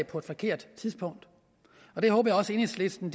på et forkert tidspunkt og det håber jeg også enhedslisten